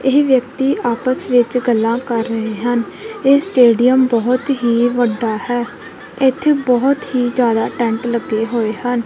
ਇਹ ਵਿਅਕਤੀ ਆਪਸ ਵਿੱਚ ਗੱਲਾਂ ਕਰ ਰਹੇ ਹਨ ਇਹ ਸਟੇਡੀਅਮ ਬਹੁਤ ਹੀ ਵੱਡਾ ਹੈ ਇੱਥੇ ਬਹੁਤ ਹੀ ਜਿਆਦਾ ਟੈਂਟ ਲੱਗੇ ਹੋਏ ਹਨ।